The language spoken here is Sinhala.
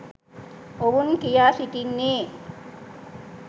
ඔවුන් කියා සිටින්නේ.